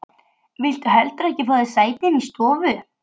Viltu ekki heldur fá þér sæti inni í stofu?